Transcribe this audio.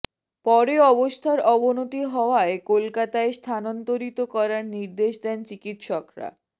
পরে অবস্থার অবনতি হওয়ায় কলকাতায় স্থানান্তরিত করার নির্দেশ দেন চিকিৎসরা